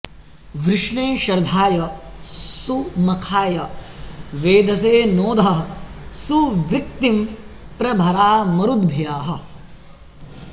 वृष्णे शर्धाय सुमखाय वेधसे नोधः सुवृक्तिं प्र भरा मरुद्भ्यः